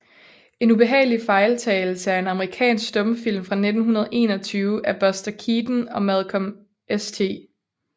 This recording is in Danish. En ubehagelig fejltagelse er en amerikansk stumfilm fra 1921 af Buster Keaton og Malcolm St